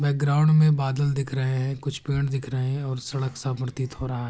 Background में बादल दिख रहे है। कुछ पेड़ दिख रहे हैं और सड़क सा प्रतीत हो रहा है।